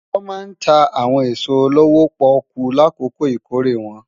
Wòn má ntá áwòn esó lówó-pòkú lákókó ikóré wòn